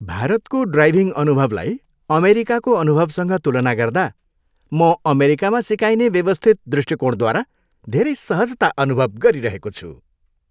भारतको ड्राइभिङ अनुभवलाई अमेरिकाको अनुभवसँग तुलना गर्दा, म अमेरिकामा सिकाइने व्यवस्थित दृष्टिकोणद्वारा धेरै सहजता अनुभव गरिरहेको छु।